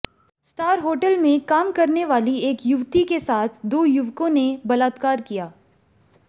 star hotel में काम करनेवाली एक युवती के साथ दो युवकों ने बलात्कार किया